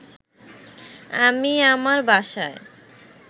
আমি আমার বাসায়